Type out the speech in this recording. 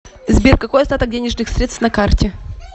сбер какой остаток денежных средств на карте